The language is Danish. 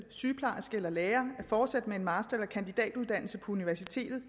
sygeplejerske eller lærer at fortsætte med en master eller kandidatuddannelse på universitetet